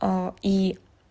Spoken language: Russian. а и